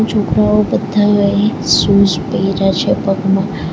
છોકરાઓ બધાઓએ શુઝ પેયરા છે પગમાં.